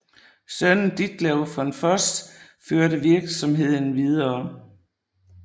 Sønnen Ditlev von Voss førte virksomheden videre